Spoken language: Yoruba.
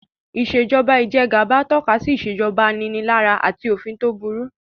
Ìṣèjoba ijẹgàba tọ́ka sí ìṣèjoba aninilára àti òfin tó burú